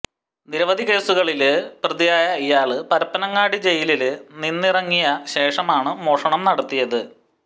നിരവധി കേസുകളില് പ്രതിയായ ഇയാള് പരപ്പനങ്ങാടി ജയിലില് നിന്നിറങ്ങിയ ശേഷമാണ് മോഷണം നടത്തിയത്